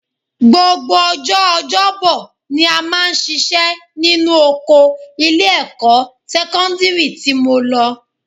Gbogbo ọjọ́ ọjọ́bọ ni a máa ṣiṣẹ́ nínú oko ilé-ẹ̀kọ́ sẹ́kọ́ndírì tí mo lọ